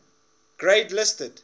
grade listed